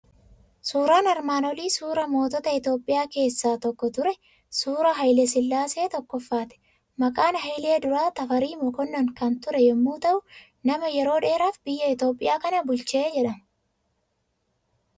Suuraan armaan olii suuraa mootota Itoophiyaa keessaa tokko ture, suuraa Haayile sillaasee Tokkoffaati. Maqaan Haayilee duraa Tafarii Mokonnon kan ture yommuu ta'u, nama yeroo dheeraaf biyya Itoophiyaa kana bulche jedhama.